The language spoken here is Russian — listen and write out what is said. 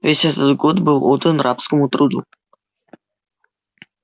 весь этот год был отдан рабскому труду